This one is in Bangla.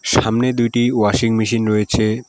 সামনে দুইটি ওয়াশিং মেশিন রয়েছে।